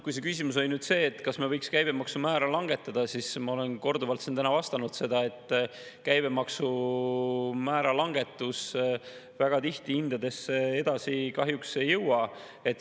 Kui see küsimus oli nüüd see, kas me võiks käibemaksumäära langetada, siis ma olen korduvalt siin täna vastanud seda, et käibemaksumäära langetus väga tihti hindadesse edasi kahjuks ei jõua.